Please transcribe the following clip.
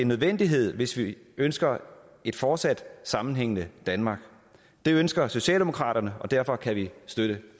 nødvendighed hvis vi ønsker et fortsat sammenhængende danmark det ønsker socialdemokraterne og derfor kan vi støtte